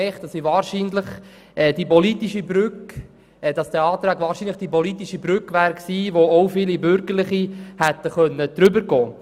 Ich habe festgestellt, dass dieser Antrag wahrscheinlich die politische Brücke gewesen wäre, über welche wohl auch viele Bürgerliche hätten gehen können.